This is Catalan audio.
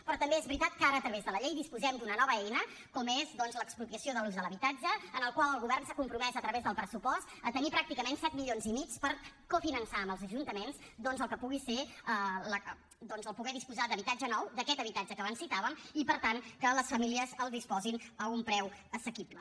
però també és veritat que ara a través de la llei disposem d’una nova eina com és doncs l’expropiació de l’ús de l’habitatge en la qual el govern s’ha compromès a través del pressupost a tenir pràcticament set milions i mig per cofinançar amb els ajuntaments doncs el que pugui ser poder disposar d’habitatge nou d’aquest habitatge que abans citàvem i per tant que les famílies el disposin a un preu assequible